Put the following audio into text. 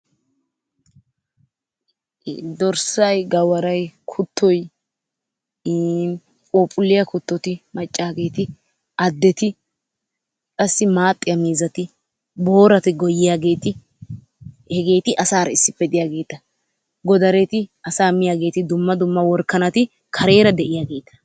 dorssay, gawaaray, kuttoy, iin phuuphphuliyaa kuttoti maccageeti addeti, qassi maaxxiyaa miizati, boorati goyyiyaageeti hegeti asaara issippe diyaageeta. godaretti, asaa miyaageeti dumma dumma worakanati kareera de'iyaageeta.